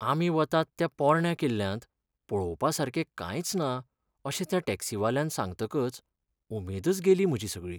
आमी वतात त्या पोरण्या किल्ल्यांत पळोवपा सारकें कांयच ना अशें त्या टॅक्सीवाल्यान सांगतकच उमेदच गेली म्हजी सगळी.